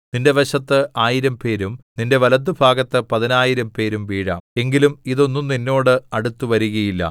നിന്റെ വശത്ത് ആയിരം പേരും നിന്റെ വലത്തുഭാഗത്ത് പതിനായിരംപേരും വീഴാം എങ്കിലും ഇതൊന്നും നിന്നോട് അടുത്തുവരുകയില്ല